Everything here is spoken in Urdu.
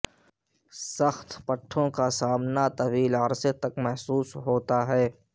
سخت پٹھوں کا سامنا طویل عرصے تک محسوس ہوتا ہے